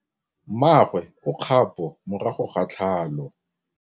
Mmagwe o kgapô morago ga tlhalô.